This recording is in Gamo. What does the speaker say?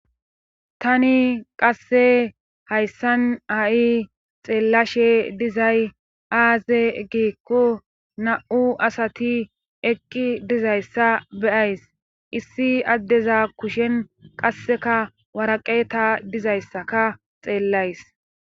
tani qasse hayssan a7i xeellashe dizay aaze giikko na7u asati ekqi dizayssa beyays issi addeza kushen qasseka waraqeta dizayssaka xeellays